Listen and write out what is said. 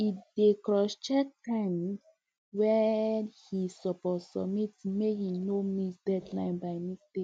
e dey crosscheck time wey e suppose submit make e no miss deadline by mistake